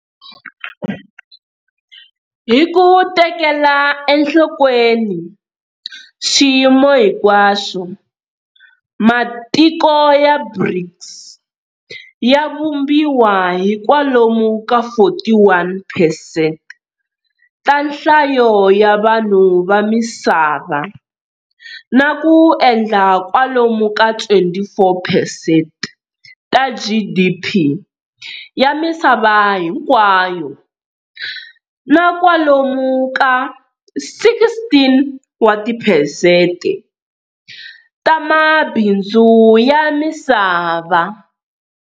Hi ku tekela enhlokweni swiyimo hinkwaswo, matiko ya BRICS ya vumbiwa hi kwalomu ka 41percent ta nhlayo ya vanhu va misava na ku endla kwalomu ka 24percent ta GDP ya misava hinkwayo na kwalomu ka 16 percent ta mabindzu ya misava.